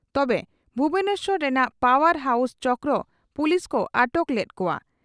ᱛᱚᱵᱮ ᱵᱷᱩᱵᱚᱱᱮᱥᱚᱨ ᱨᱮᱱᱟᱜ power house ᱪᱷᱚᱠᱨᱮ ᱯᱩᱞᱤᱥ ᱠᱚ ᱟᱴᱚᱠ ᱞᱮᱫ ᱠᱚᱼᱟ ᱾